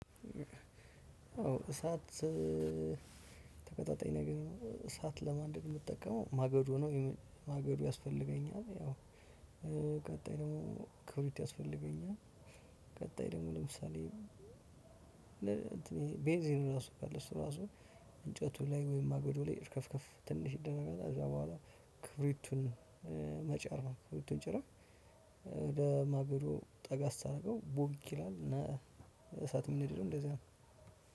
እሳት ተቀጣጣኝ ነገር እሳት ለማንደድ የምጠቀመው ማገዶ ማገዶ ያስፈልገኛል። ያው ቀጣይ ደግሞ ክብሪት ያስፈልገኛል። ቀጣይ ደግሞ ለምሳሌ ለምሳሌ ቤንዚን ራሱ እንጨቱ ላይ ወይም ማገዶ ላይ እርከፍከፍ ትንሽ ይደረጋል ተዛ በኋላ ክብሪቱን መጫር ነው። ክብሪቱን ጭረህ ማገዶ ጠጋ ስታደርገው ቦግ ይላል። እና እሳት የሚነደደው እንደዛ ነው።